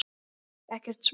Ekkert smá.